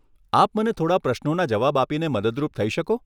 આપ મને થોડાં પ્રશ્નોના જવાબ આપીને મદદરૂપ થઈ શકો?